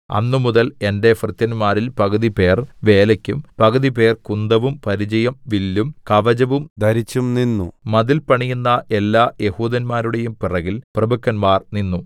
അന്നുമുതൽ എന്റെ ഭൃത്യന്മാരിൽ പകുതിപേർ വേലയ്ക്കും പകുതിപേർ കുന്തവും പരിചയും വില്ലും കവചവും ധരിച്ചും നിന്നു മതിൽ പണിയുന്ന എല്ലാ യെഹൂദന്മാരുടെയും പുറകിൽ പ്രഭുക്കന്മാർ നിന്നു